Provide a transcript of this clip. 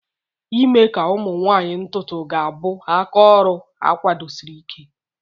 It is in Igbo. ime ka ụmụ nwanyị ntutu ga-abụ aka oru akwadosiri Ike.